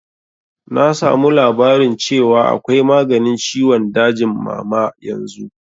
Na samu labarin cewa akwai maganin ciwon dajin mama yanzu